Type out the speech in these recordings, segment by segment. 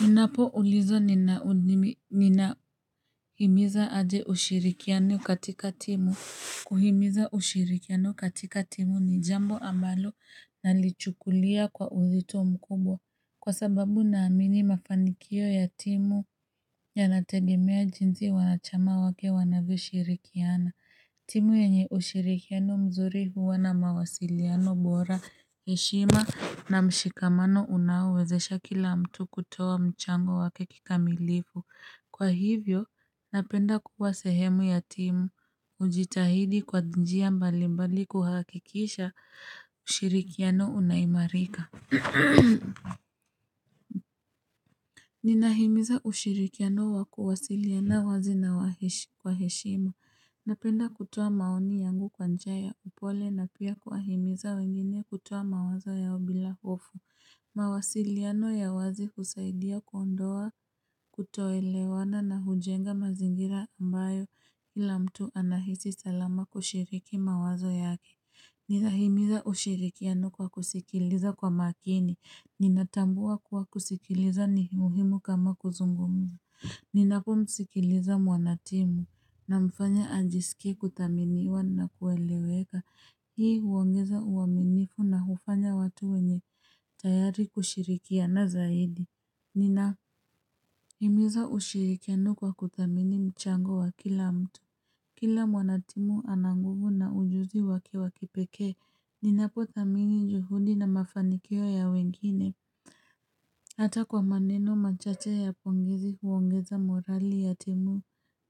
Ninapo ulizwa ninahimiza aje ushirikiano katika timu Kuhimiza ushirikiano katika timu ni jambo ambalo nalichukulia kwa uzito mkubwa Kwa sababu naamini mafanikio ya timu Yanategemea jinsi wanachama wake wanavishirikiana. Timu yenye ushirikiano mzuri huwa na mawasiliano bora heshima na mshikamano unaoeezesha kila mtu kutoa mchango wake kikamilifu. Kwa hivyo, napenda kuwa sehemu ya timu. Hujitahidi kwa njia mbali mbali kuhakikisha ushirikiano unaimarika. Ninahimiza ushirikiano wa kuwasiliana wazi na kwa heshima Napenda kutoa maoni yangu kwa njia ya upole na pia kuahimiza wengine kutuwa mawazo ya obila ofu mawasiliano ya wazi husaidia kwa ndoa kutoelewana na hujenga mazingira ambayo ila mtu anahisi salama kushiriki mawazo yake Ninahimiza ushirikiano kwa kusikiliza kwa makini Ninatambua kuwa kusikiliza ni muhimu kama kuzungumza. Ninapo msikiliza mwanatimu namfanya ajisike kuthaminiwa na kueleweka. Hii huongeza uwaminifu na hufanya watu wenye tayari kushirikia na zaidi. Ninaimiza ushirikiano kwa kuthamini mchango wa kila mtu. Kila mwanatimu ana nguvu na ujuzi wake wakipeke. Ninapo thamini juhudi na mafanikio ya wengine. Hata kwa maneno machache ya pongezi huongeza morali ya timu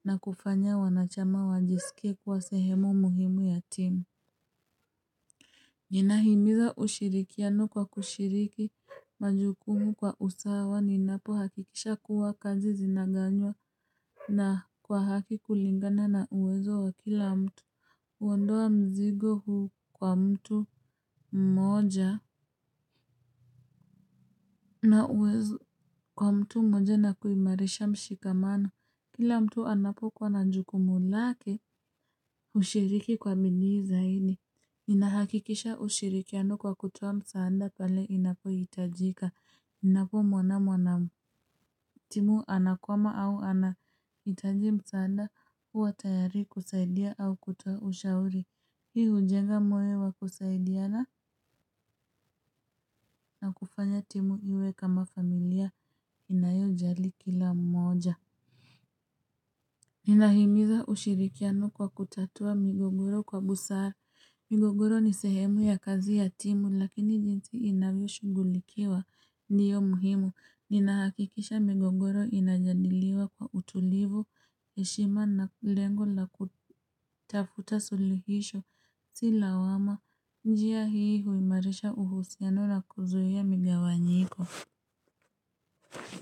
na kufanya wanachama wajisike kuwa sehemu muhimu ya timu. Ninahimiza ushirikiano kwa kushiriki majukumu kwa usawa ninapo hakikisha kuwa kazi zinaganywa na kwa haki kulingana na uwezo wa kila mtu huondoa mzigo huu kwa mtu mmoja na uwezo kwa mtu mmoja na kuimarisha mshikamano. Kila mtu anapokuwa na jukumuu mulake ushiriki kwa midi zaidi. Inahakikisha ushirikiano kwa kutoa msaada pale inapo itajika. Ninapo mwanamu anamu. Timu anakwama au anayitaji msanda uwa tayari kusaidia au kutuwa ushauri. Hii ujenga moyobwakusaidiana na kufanya timu iwe kama familia inayo jali kila mmoja. Ninahimiza ushirikiano kwa kutatua migogoro kwa busara. Migogoro ni sehemu ya kazi ya timu lakini jinsi inavyo shugulikiwa. Ndiyo muhimu. Ninaakikisha migogoro inajadiliwa kwa utulivu, heshima na lengo la kutafuta sulihisho silawama. Njia hii huimarisha uhusiano na kuzuia migawanyiko.